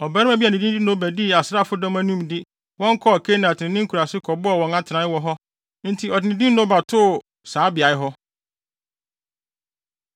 Ɔbarima bi a ne din de Noba dii asraafo bi anim de wɔn kɔɔ Kenat ne ne nkuraase kɔbɔɔ wɔn atenae wɔ hɔ enti ɔde ne din Noba too saa beae hɔ.